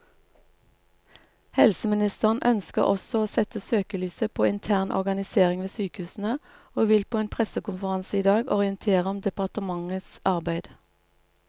Helseministeren ønsker også å sette søkelyset på intern organisering ved sykehusene, og vil på en pressekonferanse i dag orientere om departementets arbeid.